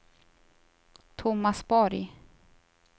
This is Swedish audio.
Tomas Borg